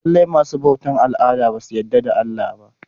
Lallai masu bautar al'ada basu yarda da Allah ba.